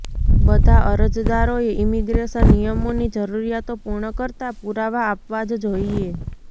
બધા અરજદારોએ ઈમિગ્રેશન નિયમોની જરુરિયાતો પૂર્ણ કરતા પૂરાવા આપવા જ જોઈએ